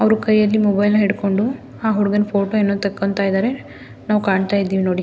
ಅವ್ರು ಕೈಯಲ್ಲಿ ಮೊಬೈಲ್ ನ ಹಿಡ್ಕೊಂಡು ಆಹ್ಹ್ ಹುಡುಗನ ಫೋಟೋ ಏನೋ ತೆಕ್ಕೊಂತ ಇದ್ದಾರೆ ನಾವು ಕಾಣ್ತಾ ಇದ್ದೀವಿ ನೋಡಿ.